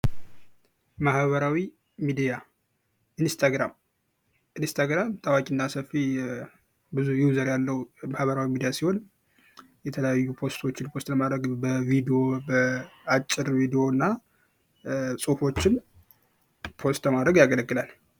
ማህበራዊ ሚዲያ ኢንስታግራም ኢንስታግራም ታዋቂ እና ሰፊ ብዝይ ዩዘር ያለው ማህበራዊ ሚዲያ ሲሆን፤ የተለያዩ ፖስቶችን ፖስት ለማረግ በአጭር ቪዲዮ እና ፖስት ለማድረግ ያገለግላል።